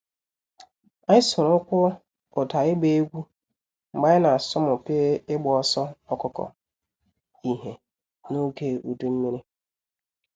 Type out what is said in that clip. Anyị soro ụkwụ ụda ịgba egwu mgbe anyị na asọmupi ịgba ọsọ ọkụkọ ihe n’oge udu mmiri.